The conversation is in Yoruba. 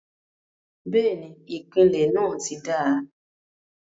bẹ́ẹ̀ni, ìpìlẹ̀ náà ti dáa.